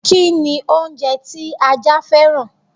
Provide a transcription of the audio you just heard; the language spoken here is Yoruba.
Kini oúnjẹ tí ajá fẹ́ràn?